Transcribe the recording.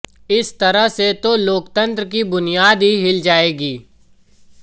इस तरह से तो लोकतंत्र की बुनियाद ही हिल जाएगी